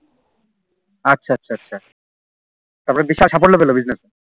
আঃ আচ্ছা আচ্ছা তার পর বিশাল সাফল্য পেলো Business এ